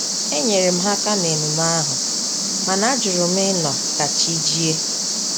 Enyere m ha aka na-emume ahu, mana ajurum ịnọ ka chi jie